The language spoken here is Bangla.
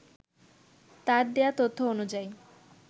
তার দেয়া তথ্য অনুযায়ী